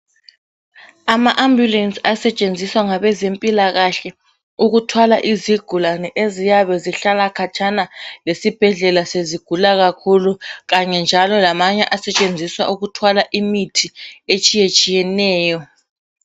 Ama ambulensi asetshenziswa ngabezempilakahle ukuthwala izigulane eziyabe ezihlala katshana lesibhedlela sezigula kakhulu, kanye njalo lamanye asetshenziswa ukuthwala imithi etshiyetshiyeneyo.